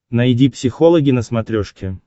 найди психологи на смотрешке